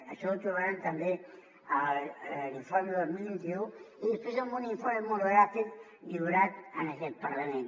això ho trobaran també a l’informe del vint un i després en un informe monogràfic lliurat a aquest parlament